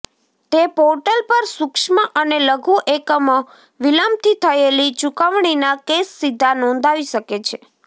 તે પોર્ટલ પર સૂક્ષ્મ અને લઘુ એકમો વિલંબથી થયેલી ચુકવણીના કેસ સીધા નોંધાવી શકે છે